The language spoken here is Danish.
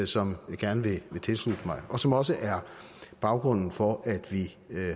som jeg gerne vil tilslutte mig og som også er baggrunden for at vi